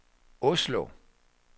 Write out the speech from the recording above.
Oslo